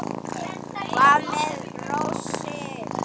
Hvað með rósir?